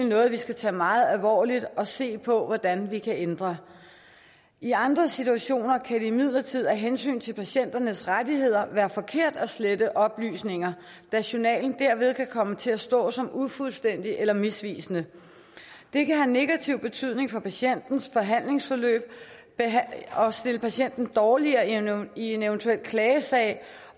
noget vi skal tage meget alvorligt og se på hvordan vi kan ændre i andre situationer kan det imidlertid af hensyn til patienternes rettigheder være forkert at slette oplysninger da journalen derved kan komme til at stå som ufuldstændig eller misvisende det kan have negativ betydning for patientens behandlingsforløb og stille patienten dårligere i en eventuel klagesag